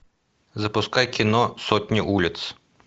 запускай кино сотни улиц